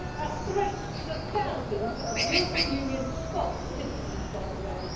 A threat to the thousands of European Union Scots citizens, by the way.